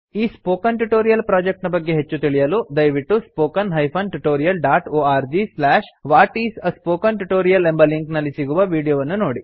ಈ spoken tutorial project ನ ಬಗ್ಗೆ ಹೆಚ್ಚು ತಿಳಿಯಲು ದಯವಿಟ್ಟು spoken tutorialorgWhat is a Spoken Tutorial ಎಂಬ ಲಿಂಕ್ ನಲ್ಲಿ ಸಿಗುವ ವೀಡಿಯೋ ವನ್ನು ನೋಡಿ